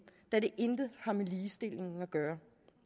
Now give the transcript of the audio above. da det intet har med ligestilling at gøre